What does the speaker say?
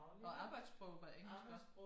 Og arbejdssproget var engelsk også